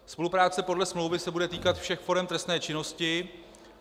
Spolupráce podle smlouvy se bude týkat všech forem trestné činnosti.